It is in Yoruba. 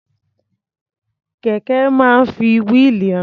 Kẹ̀ké máa ń fi wíìlì rìn.